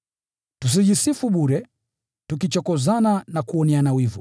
Tusijisifu bure, tukichokozana na kuoneana wivu.